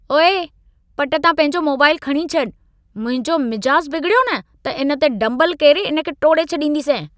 ओए! पट तां पंहिंजो मोबाइल खणी छॾि। मुंहिंजो मिजाज़ बिगिड़ियो न, त इन ते डम्बल केरे इन खे टोड़े छॾींदोसईं।